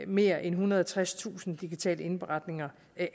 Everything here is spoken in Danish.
mere end ethundrede og tredstusind digitale indberetninger